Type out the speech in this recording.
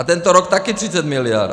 A tento rok taky 30 mld.